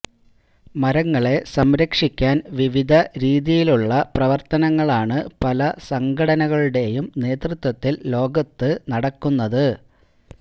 മരങ്ങളെ സംരക്ഷിക്കാന് വിവിധ രീതിയിലുള്ള പ്രവര്ത്തനങ്ങളാണ് പല സംഘടകളുടെയും നേതൃത്വത്തില് ലോകത്ത് നടക്കുന്നത്